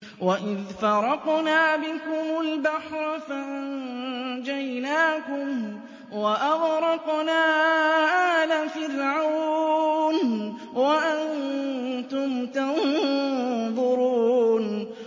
وَإِذْ فَرَقْنَا بِكُمُ الْبَحْرَ فَأَنجَيْنَاكُمْ وَأَغْرَقْنَا آلَ فِرْعَوْنَ وَأَنتُمْ تَنظُرُونَ